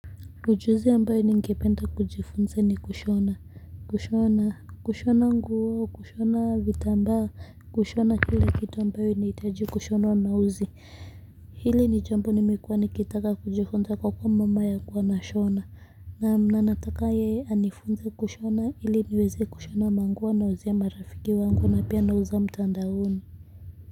Ujuzi ambayo nikependa kujifunza ni kushona kushona kushona nguo kushona vitambaa kushona kila kitu ambayo inahitaji kushonwa na uzi hili ni jambo nimekuwa nikitaka kujifunza kwa kuwa mama ye ali kuwa ana shona. Naam na nataka yeye anifunze kushona ili niweze kushona manguo anayo uzia marafiki wangu na pia nauza mtandaoni.